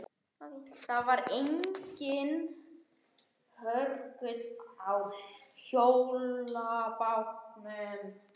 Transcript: Það var enginn hörgull á hjólabátum.